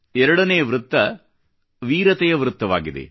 2 ನೇ ವೃತ್ತ ವೀರತೆಯ ವೃತ್ತವಾಗಿದೆ